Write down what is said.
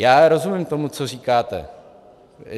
Já rozumím tomu, co říkáte.